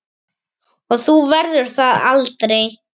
Og þú verður það aldrei.